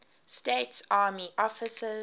states army officers